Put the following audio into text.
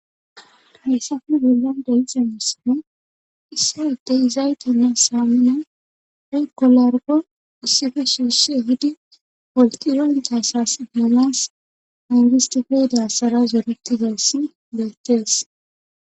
hayssafe bollan de'ixa misino issa adey izaytenna saamina ey kolorgo issife suusse hidi poltiran tayssas manas angistofeydassara zoretidass bettees